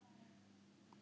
Síðan gekk Þórir út.